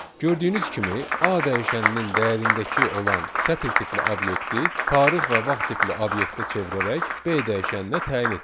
Gördüyünüz kimi, A dəyişəninin dəyərindəki olan sətr tipli obyekti tarix və vaxt tipli obyektə çevirərək, B dəyişəninə təyin etdik.